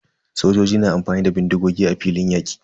Sojoji na amfani da bindigogi a filin yaƙi.